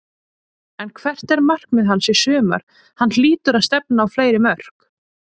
En hvert er markmið hans í sumar, hann hlýtur að stefna á fleiri mörk?